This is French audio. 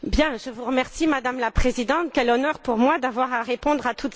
Madame la Présidente, quel honneur pour moi d'avoir à répondre à toutes ces questions!